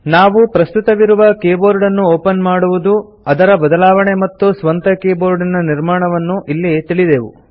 ನಾವು ಪ್ರಸ್ತುತವಿರುವ ಕೀಬೋರ್ಡನ್ನು ಒಪನ್ ಮಾಡುವುದು ಅದರ ಬದಲಾವಣೆ ಮತ್ತು ಸ್ವಂತ ಕೀಬೋರ್ಡಿನ ನಿರ್ಮಾಣವನ್ನು ಇಲ್ಲಿ ತಿಳಿದೆವು